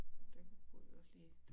Det burde vi også lige